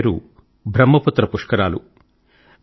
దాని పేరు బ్రహ్మపుత్ర పుష్కరాలు